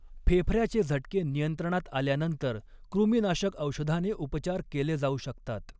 फेफऱ्याचे झटके नियंत्रणात आल्यानंतर, कृमिनाशक औषधाने उपचार केले जाऊ शकतात.